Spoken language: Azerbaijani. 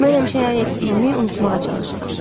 Mən həmişə nə etdiyimi unutmağa çalışıram.